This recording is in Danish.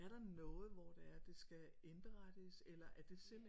Er der noget hvor det er at det skal indberettes eller er det simpelt